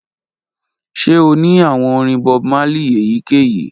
Ṣe o ni awọn orin Bob Marley eyikeyi?